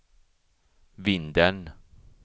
Vindeln